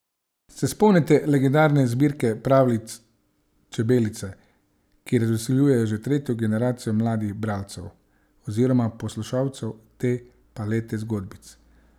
Se spomnite legendarne zbirke pravljic Čebelice, ki razveseljuje že tretjo generacijo mladih bralcev oziroma poslušalcev te palete zgodbic?